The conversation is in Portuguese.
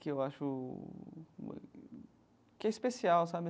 que eu acho... que é especial, sabe?